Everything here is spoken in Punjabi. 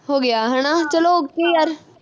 ਹੋ ਗਿਆ ਹਣਾ ਚੱਲੋ okay ਯਾਰ